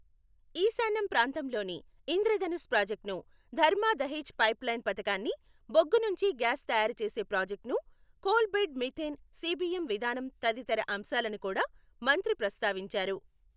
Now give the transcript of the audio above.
ఈశాన్యం ప్రాంతంలోని ఇంద్రధనుస్ ప్రాజెక్టును, ధర్మా దహేజ్ పైప్ లైన్ పథకాన్ని, బొగ్గునుంచి గ్యాస్ తయారు చేసే ప్రాాజెక్టును, కోల్ బెడ్ మీథేన్ సీబీఎం విధానం తదితర అంశాలను కూడా మంత్రి ప్రస్తావించారు.